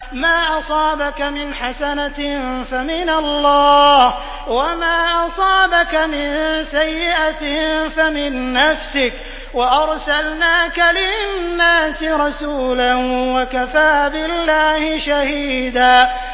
مَّا أَصَابَكَ مِنْ حَسَنَةٍ فَمِنَ اللَّهِ ۖ وَمَا أَصَابَكَ مِن سَيِّئَةٍ فَمِن نَّفْسِكَ ۚ وَأَرْسَلْنَاكَ لِلنَّاسِ رَسُولًا ۚ وَكَفَىٰ بِاللَّهِ شَهِيدًا